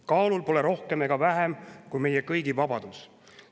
Kaalul pole rohkem ega vähem kui meie kõigi vabadus.